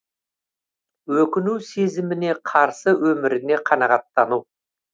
өкіну сезіміне қарсы өміріне қанағаттану